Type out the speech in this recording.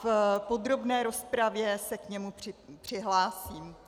V podrobné rozpravě se k němu přihlásím.